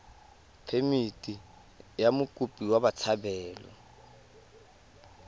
phemithi ya mokopi wa botshabelo